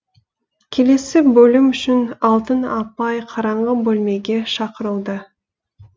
келесі бөлім үшін алтын апай қараңғы бөлмеге шақырылды